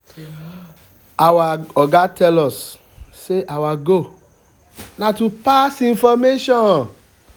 our oga just tell us say our goal na to pass information